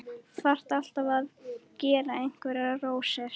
Þarf alltaf að gera einhverjar rósir.